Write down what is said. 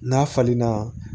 N'a falenna